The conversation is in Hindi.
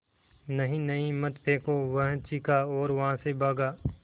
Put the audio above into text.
नहीं नहीं मत फेंको वह चीखा और वहाँ से भागा